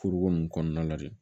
Furuko nunnu kɔnɔna la de